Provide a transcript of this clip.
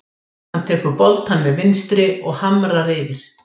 Hann tekur boltann með vinstri og hamrar yfir.